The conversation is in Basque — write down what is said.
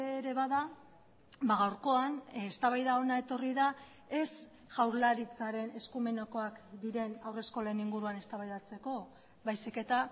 ere bada gaurkoan eztabaida hona etorri da ez jaurlaritzaren eskumenekoak diren haurreskolen inguruan eztabaidatzeko baizik eta